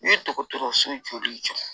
U ye dɔgɔtɔrɔso joli jɔ